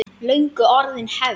Löngu orðin hefð.